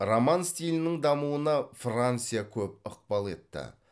роман стилінің дамуына франция көп ықпал етті